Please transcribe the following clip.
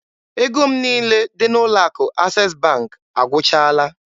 Ego m niile dị n'ụlọ akụ Access Bank agwụchaala